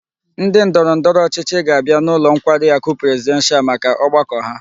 Ndi ndoro ndoro ochichi ga-abia n'ulo nkwari aku presidential maka ogbako ha